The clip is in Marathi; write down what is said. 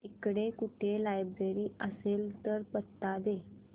इकडे कुठे लायब्रेरी असेल तर पत्ता दे